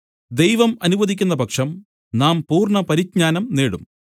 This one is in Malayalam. ദൈവം അനുവദിക്കുന്ന പക്ഷം നാം പൂർണ്ണ പരിജ്ഞാനം നേടും